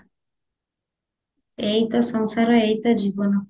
ଏଇତ ସଂସାର ଏଇତ ଜୀବନ